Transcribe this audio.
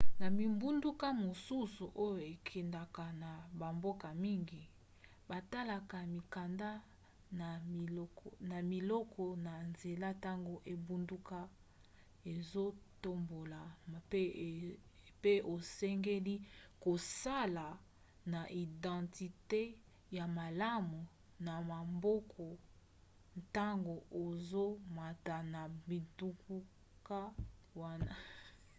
na bingbunduka mosusu oyo ekendaka na bamboka mingi batalaka mikanda na biloko na nzela ntango engbunduka ezotambola mpe osengeli kozala na identite ya malamu na maboko ntango ozomata na bingbunduka wana